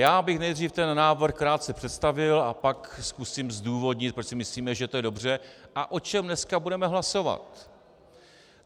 Já bych nejdřív ten návrh krátce představil a pak zkusím zdůvodnit, proč si myslíme, že to je dobře, a o čem dneska budeme hlasovat.